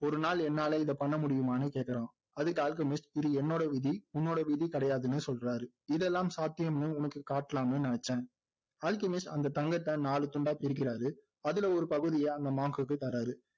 ஒரு நாள் என்னால இதை பண்ண முடியுமான்னு கேக்குறான் அதுக்கு அல்கெமிஸ்ட் இது என்னோட விதி உன்னோட விதி கிடையாதுன்னு சொல்றாரு இதெல்லாம் சாத்தியம்னு உனக்கு காட்டலாம்னு நினைச்சேன் அல்கெமிஸ்ட் அந்த தங்கத்தை நாலு துண்டாய் பிரிக்கிறாரு அதுல ஒரு பகுதியை அந்த monk குக்கு தர்றாரு.